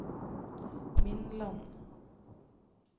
Mindland